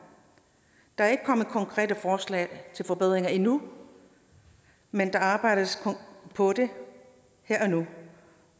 der er ikke kommet konkrete forslag til forbedringer endnu men der arbejdes på det her og nu